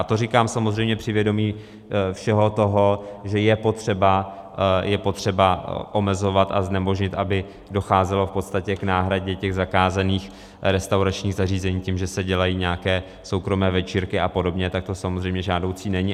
A to říkám samozřejmě při vědomí všeho toho, že je potřeba omezovat a znemožnit, aby docházelo v podstatě k náhradě těch zakázaných restauračních zařízení tím, že se dělají nějaké soukromé večírky a podobně, tak to samozřejmě žádoucí není.